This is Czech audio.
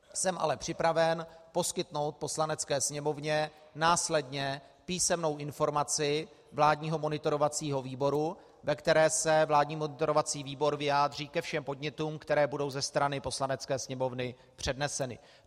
Jsem ale připraven poskytnout Poslanecké sněmovně následně písemnou informaci vládního monitorovacího výboru, ve které se vládní monitorovací výbor vyjádří ke všem podnětům, které budou ze strany Poslanecké sněmovny předneseny.